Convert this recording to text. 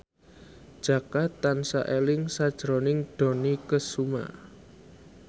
Jaka tansah eling sakjroning Dony Kesuma